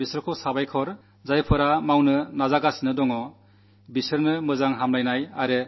ഈ ലക്ഷ്യം നേടാനായി ശ്രമിക്കുന്നവർക്ക് മംഗളാശംസകൾ നേരുന്നു